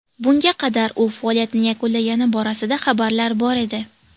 Bunga qadar u faoliyatini yakunlagani borasida xabarlar bor edi.